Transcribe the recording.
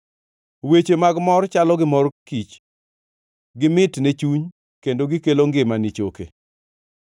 Weche mag mor chalo gi mor kich gimit ne chuny kendo gikelo ngima ni choke.